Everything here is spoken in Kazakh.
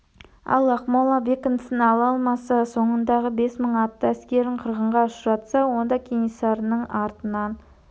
ал ақмола бекінісін ала алмаса соңындағы бес мың атты әскерін қырғынға ұшыратса онда кенесарының артынан